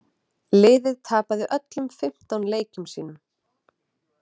Liðið tapaði öllum fimmtán leikjum sínum.